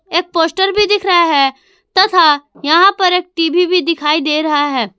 एक पोस्टर भी दिख रहा है तथा यहां पर एक टी_वी भी दिखाई दे रहा है।